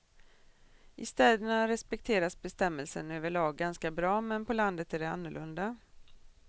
I städerna respekteras bestämmelsen överlag ganska bra men på landet är det annorlunda.